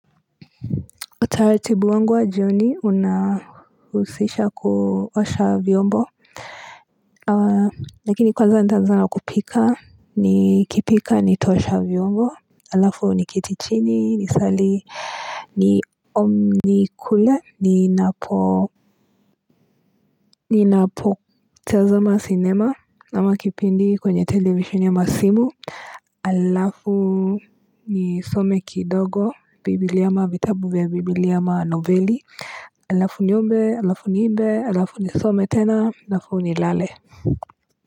Utaratibu wangu wa joni unahusisha kuosha vyombo lakini kwanza nitaanza na kupika nikipika nitaosha vyombo. Halafu niketi chini niswali, nikule ninapo, ninapotazama sinema ama kipindi kwenye televisheni ama simu, halafu nisome kidogo Biblia ama vitabu vya Biblia ama noveli. Halafu niombe, halafu niimbe, halafu nisome tena, halafu nilale.